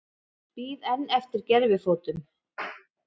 Bíða enn eftir gervifótum